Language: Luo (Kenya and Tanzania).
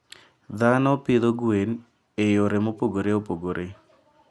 Dhano pidho gwen e yore mopogore opogore.